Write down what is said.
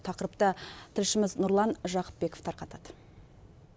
тақырыпты тілшіміз нұрлан жақыпбеков тарқатады